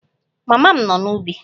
Mama m nọ n'ubi